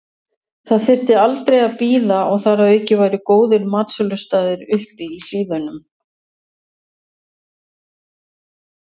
Það þyrfti aldrei að bíða og þar að auki væru góðir matsölustaðir uppi í hlíðunum.